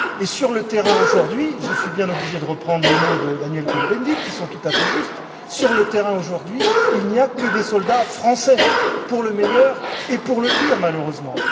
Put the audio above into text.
Et sur le terrain, aujourd'hui, je suis bien obligé de reprendre les mots de Daniel Cohn Bendit, qui sont tout à fait justes, sur le terrain, aujourd'hui, il n'y a que des soldats français, pour le meilleur et pour le pire, malheureusement.